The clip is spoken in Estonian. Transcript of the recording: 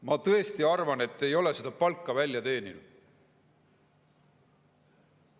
Ma tõesti arvan, et te ei ole seda palka välja teeninud.